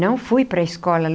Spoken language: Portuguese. Não fui para a escola.